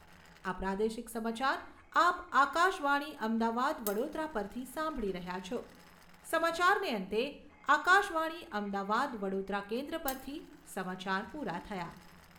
આ પ્રાદેશિક સમાચાર આપ આકાશવાણી અમદાવાદ વડોદરા પરથી સાંભળી રહ્યા છો. સમાચારને અંતે આકાશવાણી અમદાવાદ વડોદરા કેન્દ્ર પરથી સમાચાર પૂરા થયા